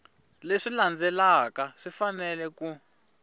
leswi landzelaka swi fanele ku